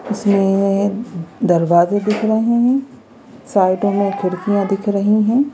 इसमें दरवाजे दिख रहे हैं साइडों में खिड़कियां दिख रही हैं।